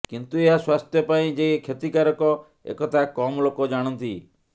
କିନ୍ତୁ ଏହା ସ୍ୱାସ୍ଥ୍ୟ ପାଇଁ ଯେ କ୍ଷତିକାରକ ଏକଥା କମ୍ ଲୋକ ଜାଣନ୍ତି